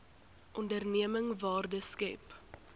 onderneming waarde skep